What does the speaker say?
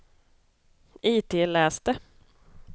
itläs det